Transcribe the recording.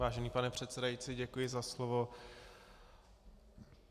Vážený pane předsedající, děkuji za slovo.